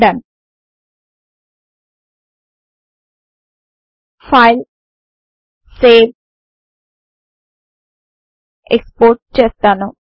Dhone ఫైల్గ్ట్గ్ట్ సావెగ్ట్గ్ట్ export చేస్తాను